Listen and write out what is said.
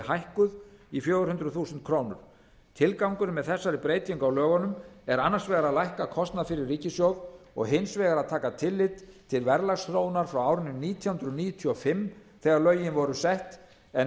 hækkuð í fjögur hundruð þúsund krónur tilgangurinn með þessari breytingu á lögunum er annars vegar að lækka kostnað fyrir ríkissjóð og hins vegar að taka tillit til verðlagsþróunar frá árinu nítján hundruð níutíu og fimm þegar lögin voru sett en